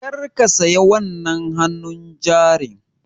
Kar ka saya wannan hannun jarin!